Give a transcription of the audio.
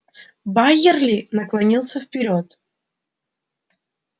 байерли наклонился вперёд